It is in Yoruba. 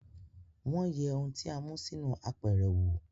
Wọ́n yẹ ohun tí a mú sínú apẹ̀rẹ̀ wo